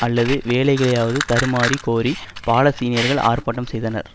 அல்லது வேலைகளையாவது தருமாறி கோரி பாலஸ்தீனியர்கள் ஆர்ப்பாட்டம் செய்தனர்